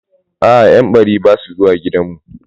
A'a, yan bari basu zuwa gidanmu.